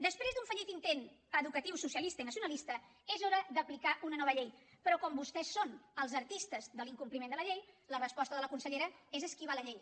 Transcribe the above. després d’un fallit intent educatiu socialista i nacionalista és hora d’aplicar una nova llei però com que vostès són els artistes de l’incompliment de la llei la resposta de la consellera és esquivar la llei